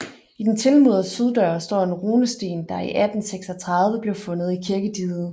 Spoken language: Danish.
I den tilmurede syddør står en runesten der i 1836 blev fundet i kirkediget